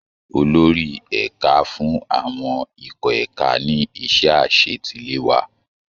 Olórí ẹ̀ka fún àwọn ikọ̀ ẹ̀ka ní iṣẹ́ àṣetiléwá